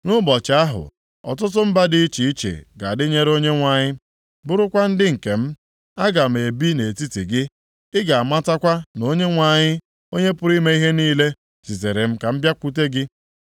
“Nʼụbọchị ahụ, ọtụtụ mba dị iche iche ga-adịnyere Onyenwe anyị, bụrụkwa ndị nke m. Aga m ebi nʼetiti gị, ị ga-amatakwa na Onyenwe anyị, Onye pụrụ ime ihe niile zitere m ka m bịakwute gị.